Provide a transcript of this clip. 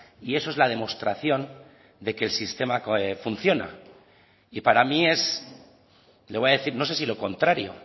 y eso es la demostración de que el sistema funciona y para mí es le voy a decir no sé si lo contrario